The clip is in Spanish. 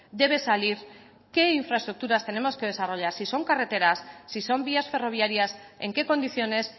debe salir qué infraestructuras tenemos que desarrollar si son carreteras si son vías ferroviarias en qué condiciones